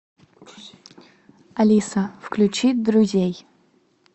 алиса включи друзей